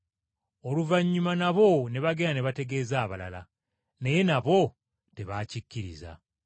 Oluvannyuma nabo ne bagenda ne bategeeza abalala, naye nabo tebaakikkiriza.